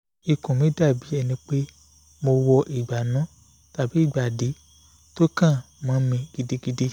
ikùn mi dàbí ẹni pé mo wọ ìgbànú tàbí ìgbàdí tó kán mọ́ mi gidigidi